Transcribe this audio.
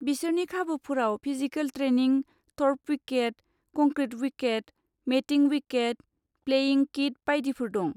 बिसोरनि खाबुफोराव physical training, turf wicket, concrete wicket, matting wicket, playing kit बायदिफोर दं।